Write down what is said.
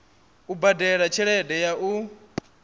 u badela tshelede ya u